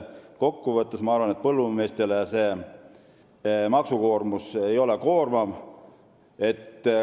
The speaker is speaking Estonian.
Kokku võttes ma arvan, et maksukoormus ei ole põllumeestele koormav.